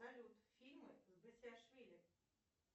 салют фильмы с басилашвили